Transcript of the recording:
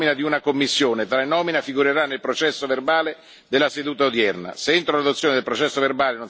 Se entro l'adozione del processo verbale non sarà presentata alcuna osservazione, tale nomina sarà considerata approvata.